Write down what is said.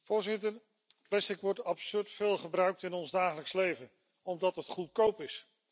Voorzitter, plastic wordt absurd veel gebruikt in ons dagelijks leven, omdat het goedkoop is.